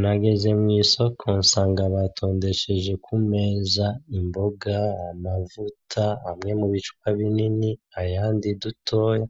Nageze mw'isoko nsanga batondesheje ku meza imboga, amavuta, amwe mu bicupa binini, ayandi dutoya,